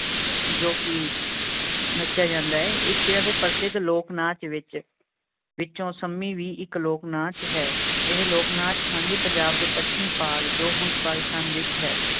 ਜੋ ਕੀ ਨਚੇਯਾ ਜਾਂਦਾ ਹੈ ਇਸ ਤਰ੍ਹਾਂ ਦੇ ਪ੍ਰਸਿੱਧ ਲੋਕ ਨਾਚ ਵਿਚ ਵਿਚੋਂ ਸਮੀ ਵੀ ਇਕ ਲੋਕ ਨਾਚ ਹੈਂ ਇਹ ਲੋਕ ਨਾਚ ਸਾਂਝੇ ਪੰਜਾਬ ਦੇ ਪੱਛਮੀ ਭਾਗ ਜੋ ਹੁਣ ਪਾਕਿਸਤਾਨ ਵਿਚ ਹੈ